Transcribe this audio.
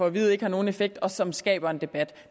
at vide ikke har nogen effekt og som skaber en debat